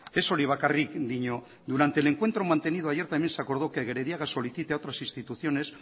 ez hori bakarrik dio durante el encuentro mantenido ayer también se acordó que gerediaga solicite a otras instituciones